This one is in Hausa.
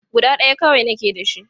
Guda ɗaya kawai nake da shi.